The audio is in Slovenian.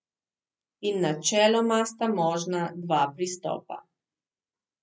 In načeloma sta možna dva pristopa.